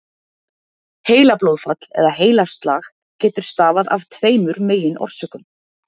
Heilablóðfall eða heilaslag getur stafað af tveimur meginorsökum.